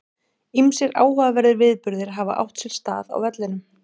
Ýmsir áhugaverðir viðburðir hafa átt sér stað á vellinum.